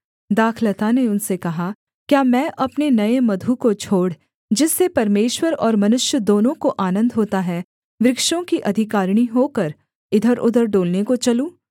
दाखलता ने उनसे कहा क्या मैं अपने नये मधु को छोड़ जिससे परमेश्वर और मनुष्य दोनों को आनन्द होता है वृक्षों की अधिकारिणी होकर इधरउधर डोलने को चलूँ